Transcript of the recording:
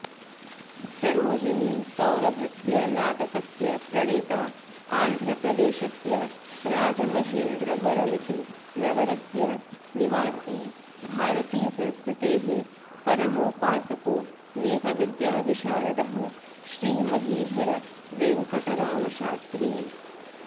सरोजिनीसौरभस्य नाटकस्य प्रणेता आन्ध्रप्रदेशस्य राजमहेन्द्रवरमिति नगरस्य निवासी भारतीसंस्कृतेः परमोपासकोऽनेकविद्याविशारदः श्रीमहीधर वेङ्कटरामशास्त्री